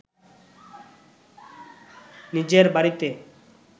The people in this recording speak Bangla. নিজের বাড়িতে